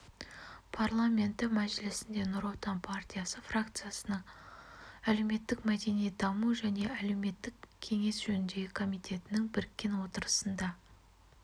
парламенті мәжілісінде нұр отан партиясы фракциясының әлеуметтік-мәдени даму және әлеуметтік кеңес жөніндегі комитетінің біріккен отырысында